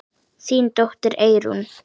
Þín dóttir, Eyrún.